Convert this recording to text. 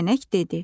Kəpənək dedi: